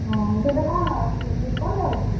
ଓହୋଃ ଏବେ କଣ ଅଛି ନିର୍ବନ୍ଧ ଅଛି?